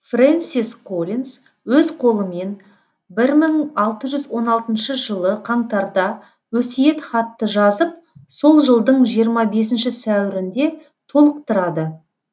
фрэнсис коллинз өз қолымен бір мың алты жүз он алтыншы жылы қаңтарда өсиетхатты жазып сол жылдың жиырма бесінші сәуірінде толықтырады